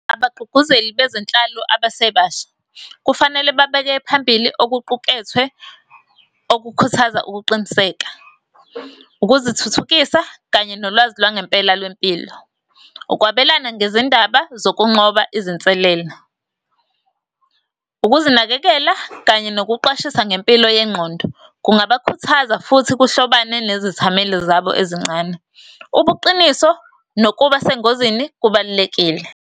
Abagqugquzeli bezenhlalo abesebasha, kufanele babeke phambili okuqukethwe, okukhuthaza ukuqiniseka, ukuzithuthukisa, kanye nolwazi lwangempela lwempilo. Ukwabelana ngezindaba zokunqoba izinselelo , ukuzinakekela, kanye nokuqwashisa ngempilo yengqondo. Kungabakhuthaza, futhi kuhlobane nezithameli zabo ezincane. Ubuqiniso nokuba sengozini, kubalulekile.